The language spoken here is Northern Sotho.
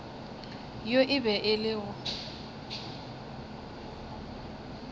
yo e bego e le